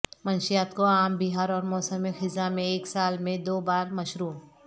منشیات کو عام بہار اور موسم خزاں میں ایک سال میں دو بار مشروع